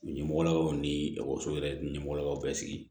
Ɲɛmɔgɔlakaw ni ekɔliso yɛrɛ ɲɛmɔgɔlakaw bɛ sigi